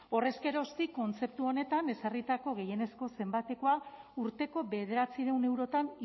horrez geroztik kontzeptu honetan ezarritako gehienezko zenbatekoa urteko bederatziehun eurotan